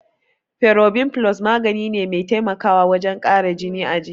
Ferobin Plus magani ne mai taimakawa wajen kara jini a jiki.